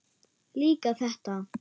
Líka þetta.